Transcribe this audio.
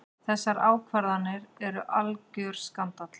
Þessar ákvarðanir eru algjör skandall.